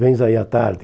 Vens aí à tarde.